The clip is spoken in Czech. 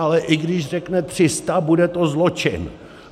Ale i když řekne 300, bude to zločin!